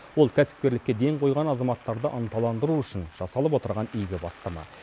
ол кәсіпкерлікке ден қойған азаматтарды ынталандыру үшін жасалып отырған игі бастама